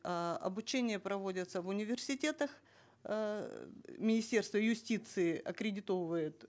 эээ обучения проводятся в университетах эээ министерство юстиции аккредитовывает